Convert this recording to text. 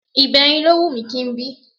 Ìbẹrin ló wù mí kí n bí